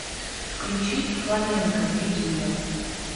включи фламенко дидюля